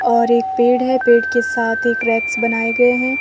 और एक पेड़ है पेड़ के साथ ही क्रैंप्स बनाए गए हैं।